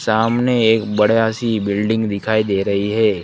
सामने एक बढ़िया सी बिल्डिंग दिखाई दे रही है।